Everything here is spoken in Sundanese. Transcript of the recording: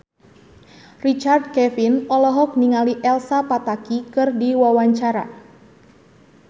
Richard Kevin olohok ningali Elsa Pataky keur diwawancara